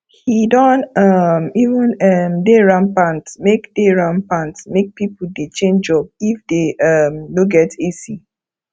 he don um even um dey rampant make dey rampant make people dey change job if they um no get ac